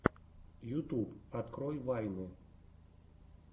ютуб открой вайны